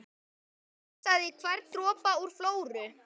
Hún pressaði hvern dropa úr Flóru